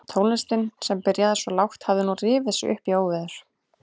Tónlistin sem byrjaði svo lágt hafði nú rifið sig upp í óveður.